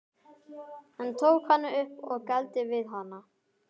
Hann tók hana upp og gældi við hana.